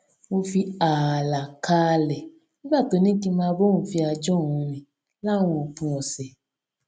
mo fi ààlà kààlẹ nígbà tó ní kí n máa bá òun fi ajá òun rìn láwọn òpin òsè